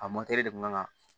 A de kun kan ka